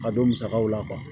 Ka don musakaw la